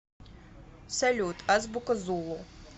салют азбука зулу